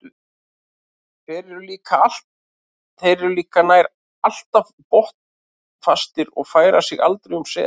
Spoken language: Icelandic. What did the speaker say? Þeir eru líka nær alltaf botnfastir og færa sig aldrei um set.